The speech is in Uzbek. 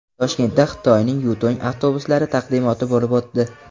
Toshkentda Xitoyning Yutong avtobuslari taqdimoti bo‘lib o‘tdi.